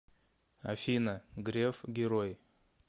афина греф герой